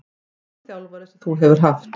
Besti þjálfari sem þú hefur haft?